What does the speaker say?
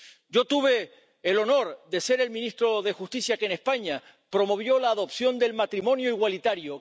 Yo tuve el honor de ser el ministro de Justicia que en España promovió la adopción del matrimonio igualitario.